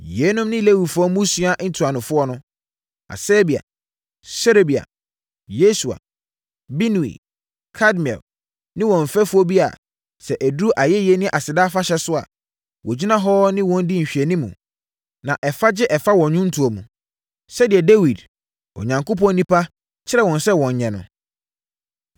Yeinom ne Lewifoɔ mmusua ntuanofoɔ: Hasabia, Serebia, Yesua, Binui, Kadmiel ne wɔn mfɛfoɔ bi a, sɛ ɛduru ayɛyie ne aseda afahyɛ so a, wɔgyina hɔ ne wɔn di nhwɛanimu, na ɛfa gye ɛfa so wɔ nnwontoɔ mu, sɛdeɛ Dawid, Onyankopɔn onipa, kyerɛɛ wɔn sɛ wɔnyɛ no.